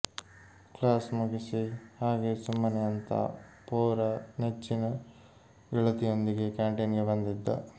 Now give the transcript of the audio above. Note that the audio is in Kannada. ಕ್ಲಾಸ್ ಮುಗಿಸಿ ಹಾಗೇ ಸುಮ್ಮನೆ ಅಂತಾ ಪೋರ ನೆಚ್ಚಿನ ಗೆಳತಿಯೊಂದಿಗೆ ಕ್ಯಾಂಟಿನ್ಗೆ ಬಂದಿದ್ದ